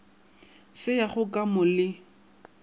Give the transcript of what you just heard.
se yago ka mo le